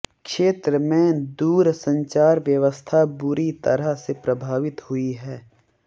क्षेत्र में दूरसंचार व्यवस्था बुरी तरह से प्रभावित हुई है